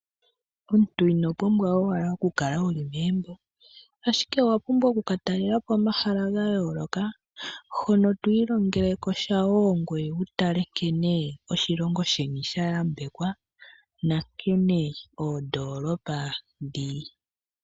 Omuntu ino pumbwa owala okukala wuli megumbo, ashike owa pumbwa okukatalelapo omahala gayooloka, hono twiilongelekosha wo ngwee wutale nkene oshilongo sheni sha yambekwa, nankene oondolopa dhili.